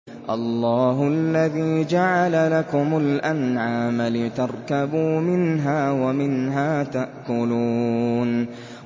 اللَّهُ الَّذِي جَعَلَ لَكُمُ الْأَنْعَامَ لِتَرْكَبُوا مِنْهَا وَمِنْهَا تَأْكُلُونَ